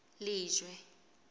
lejwe